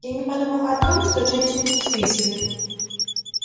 я не подумал о том что женщины чувствительны